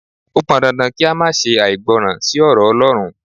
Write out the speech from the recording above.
O pọn dandan kí a má ṣe àìgbọràn sí ọ̀rọ̀ Ọlọ́run.